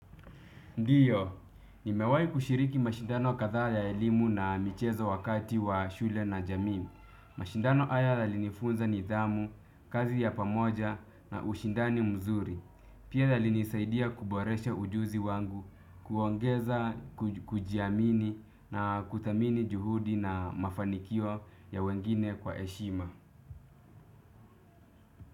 Ndio nimewahi kushiriki mashindano kadhaa ya elimu na michezo wakati wa shule na jamii. Mashindano haya yalinifunza nidhamu kazi ya pamoja na ushindani mzuri. Pia yalinisaidia kuboresha ujuzi wangu, kuongeza kujiamini na kuthamini juhudi na mafanikio ya wengine kwaheshima.